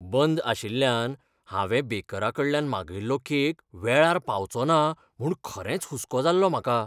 बंद आशिल्ल्यान हांवें बेकराकडल्यान मागयल्लो केक वेळार पावचो ना म्हूण खरेंच हुस्को जाल्लो म्हाका.